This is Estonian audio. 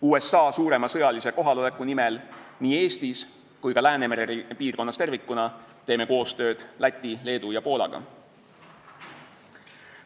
USA suurema sõjalise kohaloleku nimel nii Eestis kui ka Läänemere piirkonnas tervikuna teeme koostööd Läti, Leedu ja Poolaga.